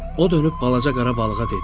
O dönüb balaca qara balığa dedi: